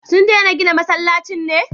Sun dena gina masallaci ne?